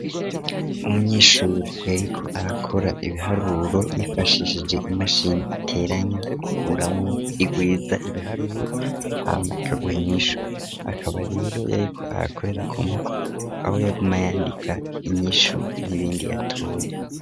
Umunyeshuri yariko arakora ibiharuro yifashishije imashini iteranya, ikuramwo, igwiza ibiharuro hama ikaguha inyishu, akaba rero yariko arakorera ku mpapuro aho yaguma yandika inyishu n'ibindi yatoye.